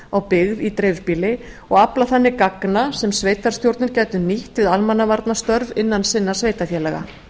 á byggð í dreifbýli og afla þannig gagna sem sveitarstjórnir gætu nýtt við almannavarnastörf innan sinna sveitarfélaga